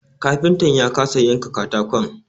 Kafintan ya kasa yanka katakon